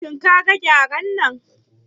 Shin kaga Gyaren nan?